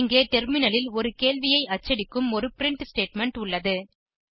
இங்கே டெர்மினலில் ஒரு கேள்வியை அச்சடிக்கும் ஒரு பிரின்ட் ஸ்டேட்மெண்ட் உள்ளது